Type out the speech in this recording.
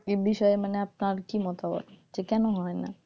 এ বিষয়ে আপনার কি মতামত যে কেন হয়না,